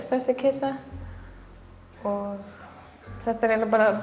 þessi kisa og þetta er eiginlega bara